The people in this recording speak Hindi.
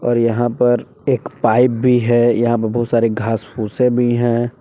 और यहां पर एक पाइप भी है यहां पर बहुत सारे घास फूसे भी हैं।